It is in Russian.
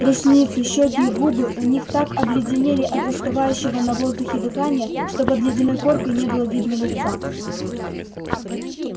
ресницы щёки и губы у них так обледенели от застывающего на воздухе дыхания что под ледяной коркой не было видно лица